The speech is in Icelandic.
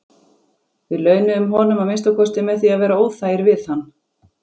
Við launuðum honum að minnsta kosti með því að vera óþægir við hann.